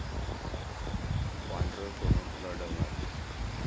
पांढरं सोनं रडवणार!